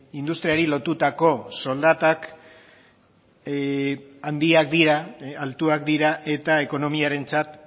industriari lotutako soldatak handiak dira altuak dira eta ekonomiarentzat